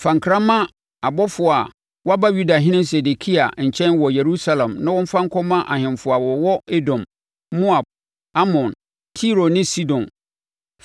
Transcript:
Fa nkra ma abɔfoɔ a wɔaba Yudahene Sedekia nkyɛn wɔ Yerusalem na wɔmfa nkɔma ahemfo a wɔwɔ Edom, Moab, Amon, Tiro ne Sidon.